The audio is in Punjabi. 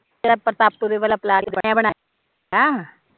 ਤੇ ਪਰਤਾਪਪੁਰੇ ਵੱਲ਼ ਫਲੈਟ ਬਣਿਆ ਬਣਾਇਆ